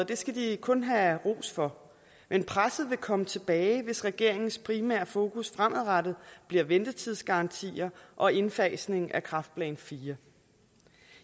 det skal de kun have ros for men presset vil komme tilbage hvis regeringens primære fokus fremadrettet bliver ventetidsgarantier og indfasning af kræftplan iv